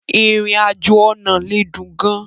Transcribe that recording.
Ìrìn-àjò ọ̀nà lè dùn gan-an.